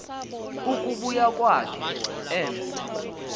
ukubuya kwakhe emse